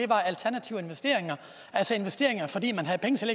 var alternative investeringer altså investeringer fordi man havde penge som